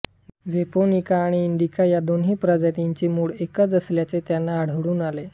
japonica आणि indica या दोन्ही प्रजातींचे मूळ एकच असल्याचे त्यांना आढळून आले